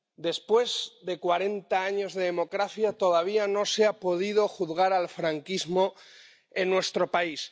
Después de cuarenta años de democracia, todavía no se ha podido juzgar al franquismo en nuestro país.